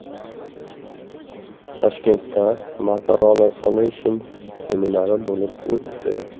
Toshkentda Motorola Solutions seminari bo‘lib o‘tdi.